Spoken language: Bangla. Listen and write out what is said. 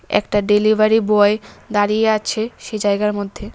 একটা ডেলিভারি বয় দাঁড়িয়ে আছে সে জায়গার মধ্যে।